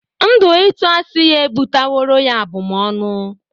Ndu itu asi ya ebutaworo ya abụm ọnụ.